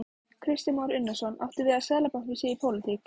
Kristján Már Unnarsson: Áttu við að Seðlabankinn sé í pólitík?